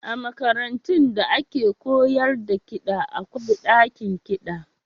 A makarantun da ake koyar da kiɗa akwai ɗakin kiɗa.